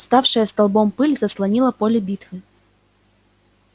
вставшая столбом пыль заслонила поле битвы